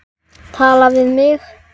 Tala við mig?